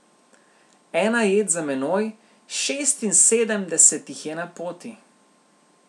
Ena jed za menoj, šestinsedemdeset jih je na poti.